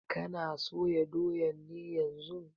Kana soya doyan ne yanzun?